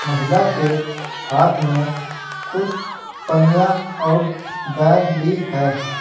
महिला के हाथ में कुछ पनिया और बैग भी है।